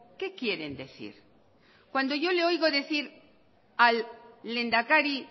qué quieren decir cuándo yo le oigo decir al lehendakari